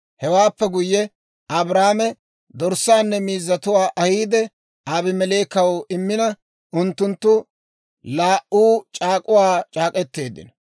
Hewaappe guyye Abrahaame dorssaanne miizzatuwaa ahiide, Abimeleekaw immina, unttunttu laa"u c'aak'uwaa c'aak'k'eteeddino.